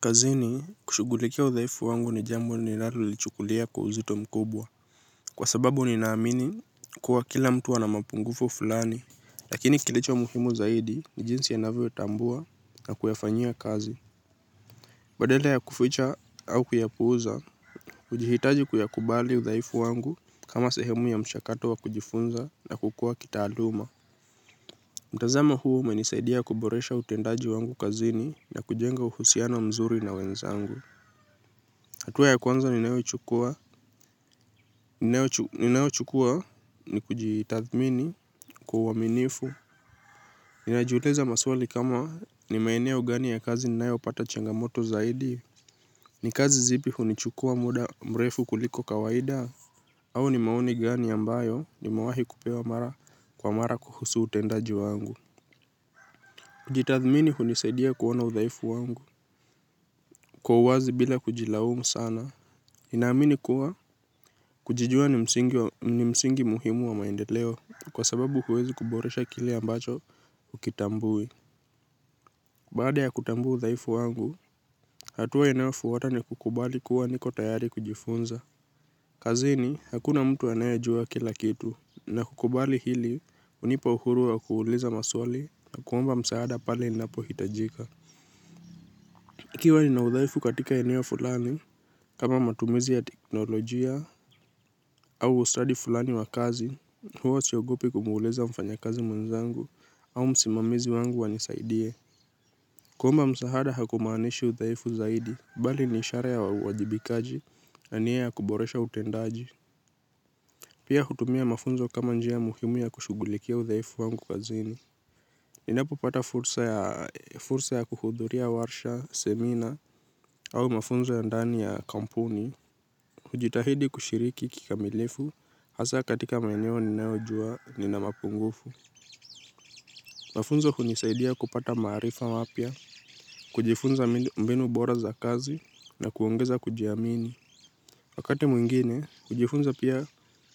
Kazini kushughulikia udhaifu wangu ni jambo ninalolichukulia kwa uzito mkubwa, kwa sababu ninaamini kuwa kila mtu ana mapungufu fulani, lakini kilicho muhimu zaidi ni jinsi anavyotambua na kuyafanyia kazi. Badala ya kuficha au kuyapuuza hujihitaji kuyakubali udhaifu wangu kama sehemu ya mchakato wa kujifunza na kukua kitaaluma. Mtazamo huu umenisaidia kuboresha utendaji wangu kazini na kujenga uhusiano mzuri na wenzangu. Hatua ya kwanza ninayochukua ni kujitathmini kwa uaminifu. Ninajiuliza maswali kama ni maeneo gani ya kazi ninayopata changamoto zaidi. Ni kazi zipi hunichukua muda mrefu kuliko kawaida? Au ni maoni gani ambayo nimewahi kupewa mara kwa mara kuhusu utendaji wangu? Kujitathmini hunisaidia kuona udhaifu wangu kwa uwazi bila kujilaumu sana. Ninaamini kuwa kujijua ni msingi muhimu wa maendeleo kwa sababu huwezi kuboresha kile ambacho hukitambui. Baada ya kutambua udhaifu wangu, hatua inayofuata ni kukubali kuwa niko tayari kujifunza. Kazini, hakuna mtu anayejua kila kitu, na kukubali hili hunipa uhuru wa kuuliza maswali na kuomba msaada pale inapohitajika. Ikiwa nina udhaifu katika eneo fulani, kama matumizi ya teknolojia au ustadi fulani wa kazi, huwa siogopi kumuuliza mfanya kazi mwenzangu au msimamizi wangu anisaidie. Kuomba msaada hakumaanishi udhaifu zaidi, bali ni ishara ya uwajibikaji, na nia ya kuboresha utendaji. Pia hutumia mafunzo kama njia muhimu ya kushughulikia udhaifu wangu kazini. Ninapopata fursa ya kuhudhuria warsha, semina, au mafunzo ya ndani ya kampuni. Hujitahidi kushiriki kikamilifu, hasa katika maeneo ninayojua nina mapungufu. Mafunzo hunisaidia kupata maarifa mapya, kujifunza mbinu bora za kazi, na kuongeza kujiamini. Wakati mwingine, kujifunza pia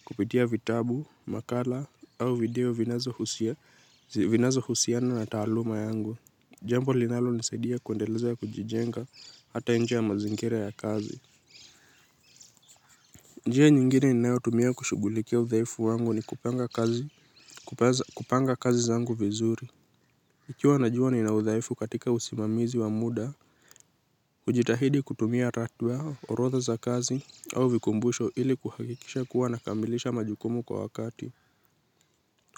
kupitia vitabu, makala, au video vinazohusia, vinazohusiana na taaluma yangu. Jambo linalonisaidia kuendeleza kujijenga hata nje ya mazingira ya kazi. Njia nyingine ninayo tumia kushughulikia udhaifu wangu ni kupanga kazi zangu vizuri. Nikiwa najua nina udhaifu katika usimamizi wa muda hujitahidi kutumia ratiba, orotha za kazi au vikumbusho ili kuhakikisha kuwa nakamilisha majukumu kwa wakati.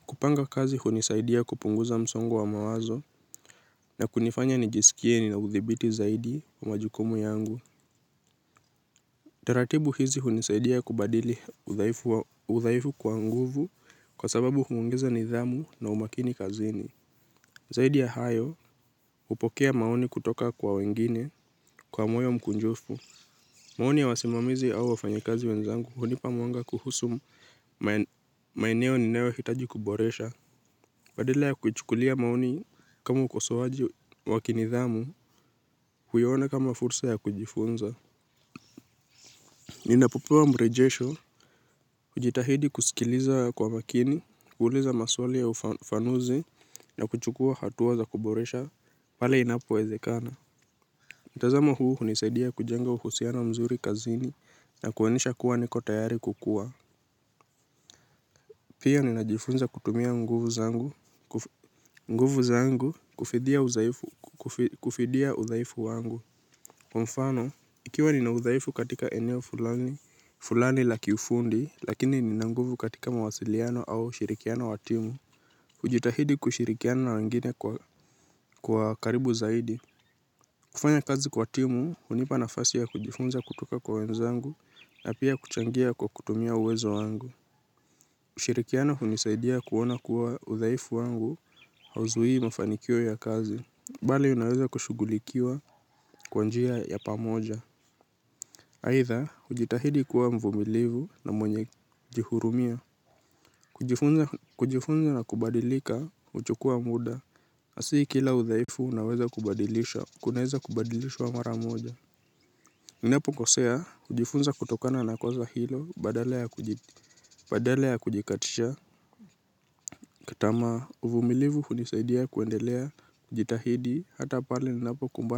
Kupanga kazi hunisaidia kupunguza msongo wa mawazo na kunifanya nijisikie nina uthibiti zaidi wa majukumu yangu. Taratibu hizi hunisaidia kubadili udhaifu kwa nguvu kwa sababu huongeza nidhamu na umakini kazini. Zaidi ya hayo hupokea maoni kutoka kwa wengine kwa moyo mkunjufu. Maoni ya wasimamizi au wafanyikazi wenzangu hunipa mwanga kuhusu maeneo ninayohitaji kuboresha. Badala ya kuichukulia maoni kama ukosoaji wa kinidhamu huiona kama fursa ya kujifunza. Ninapopewa mrejesho, hujitahidi kusikiliza kwa makini, kuuliza maswali ya ufafanuzi, na kuchukua hatua za kuboresha pale inapo wezekana. Mtazamo huu hunisadia kujenga uhusiano nzuri kazini na kuonyesha kuwa niko tayari kukua. Pia ninajifunza kutumia nguvu zangu, nguvu zangu kufidia udhaifu wangu. Kwa mfano, ikiwa nina udhaifu katika eneo fulani, fulani la kiufundi, lakini nina nguvu katika mawasiliano au ushirikiano wa timu. Hujitahidi kushirikiana na wengine kwa karibu zaidi. Kufanya kazi kwa timu, hunipa nafasi ya kujifunza kutoka kwa wenzangu na pia kuchangia kwa kutumia uwezo wangu. Ushirikiano hunisaidia kuona kuwa udhaifu wangu hauzuii mafanikio ya kazi. Bali unawaza kushughulikiwa kwa njia ya pamoja. Aidha, hujitahidi kuwa mvumilivu na mwenye kujihurumia. Kujifunza na kubadilika, huchukua muda. Si kila udhaifu unaweza kubadilisha, kunaweza kubadilishwa mara moja. Ninapokosea, hujifunza kutokana na kosa hilo, badala ya kujikatishia tamaa, uvumilivu hunisaidia kuendelea, kujitahidi, hata pale ninapokumbana.